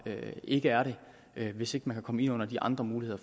ikke er det hvis ikke man kan komme ind under de andre muligheder